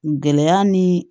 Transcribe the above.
Gɛlɛya ni